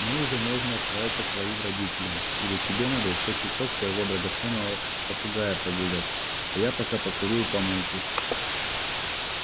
мы уже можем отправиться к твоим родителям или тебе надо ещё часок своего драгоценного попугая прогулять а я пока покурю у помойки